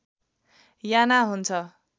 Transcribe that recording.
याना हुन्छ